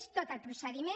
és tot el procediment